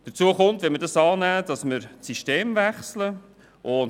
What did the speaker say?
Hinzu kommt, dass wir bei Annahme der Motion das System wechseln würden.